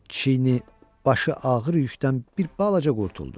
Çiyini, başı ağır yükdən bir balaca qurtuldu.